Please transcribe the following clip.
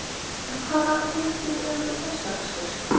En hvaða réttir eru vinsælastir?